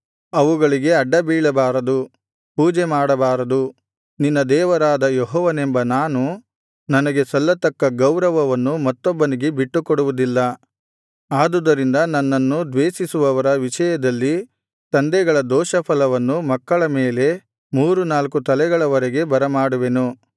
ಅವುಗಳಿಗೆ ಅಡ್ಡ ಬೀಳಬಾರದು ಪೂಜೆ ಮಾಡಬಾರದು ನಿನ್ನ ದೇವರಾದ ಯೆಹೋವನೆಂಬ ನಾನು ನನಗೆ ಸಲ್ಲತಕ್ಕ ಗೌರವವನ್ನು ಮತ್ತೊಬ್ಬನಿಗೆ ಬಿಟ್ಟುಕೊಡುವುದಿಲ್ಲ ಆದುದರಿಂದ ನನ್ನನ್ನು ದ್ವೇಷಿಸುವವರ ವಿಷಯದಲ್ಲಿ ತಂದೆಗಳ ದೋಷಫಲವನ್ನು ಮಕ್ಕಳ ಮೇಲೆ ಮೂರು ನಾಲ್ಕು ತಲೆಗಳವರೆಗೆ ಬರಮಾಡುವೆನು